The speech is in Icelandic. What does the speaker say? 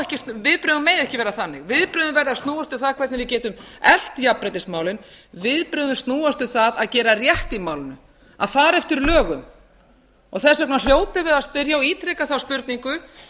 viðbrögðin mega ekki vera þannig viðbrögðin verða að snúast um það hvernig við getum eflt jafnréttismálin viðbrögðin snúast um það að gera rétt í málinu að fara eftir lögum þess vegna hljótum við að spyrja og ítreka þá spurningu